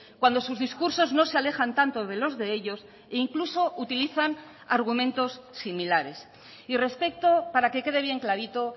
cuando sus discursos no se alejan tanto de los de ellos e incluso utilizan argumentos similares y respecto para que quede bien clarito